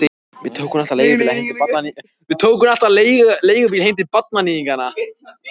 Við tókum alltaf leigubíla heim til barnaníðinganna.